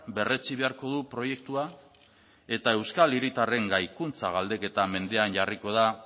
berretsi beharko du proiektua eta euskal hiritarren gaikuntza galdeketa mendean jarriko da